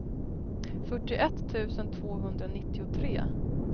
fyrtioett tusen tvåhundranittiotre